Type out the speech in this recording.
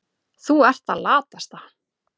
Þú ert það latasta.